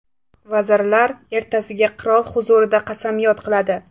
Vazirlar ertasiga qirol huzurida qasamyod qiladi.